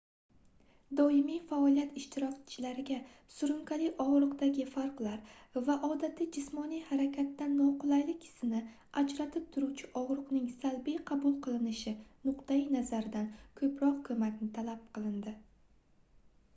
domiy faoliyat ishtirokchilariga surunkali ogʻriqdagi farqlar va odatiy jismoniy harakatdan noqulaylik hissini ajratib turuvchi ogʻriqning salbiy qabul qilinishi nuqtai-nazaridan koʻproq koʻmakni talab qilindi